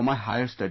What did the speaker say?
Higher Studies